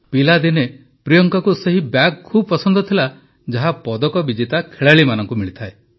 ପିଲାଦିନେ ପ୍ରିୟଙ୍କାଙ୍କୁ ସେହି ବ୍ୟାଗ ଖୁବ ପସନ୍ଦ ଥିଲା ଯାହା ପଦକ ବିଜେତା ଖେଳାଳିମାନଙ୍କୁ ମିଳିଥାଏ